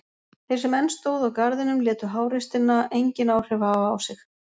Þeir sem enn stóðu á garðinum létu háreystina engin áhrif hafa á sig.